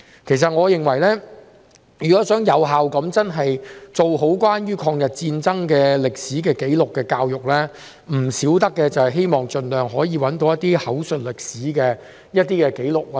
其實，我認為如果想有效地做好關於抗日戰爭歷史紀錄的教育，必不可少的是要盡量搜尋口述歷史的紀錄。